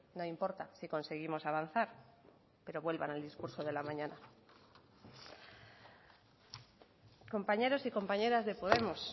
no importa si conseguimos avanzar pero vuelvan al discurso de la mañana compañeros y compañeras de podemos